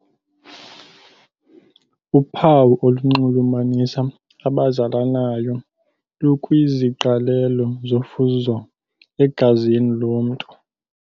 Uphawu olunxulumanisa abazalanayo lukwiziqalelo zofuzo egazini lomntu.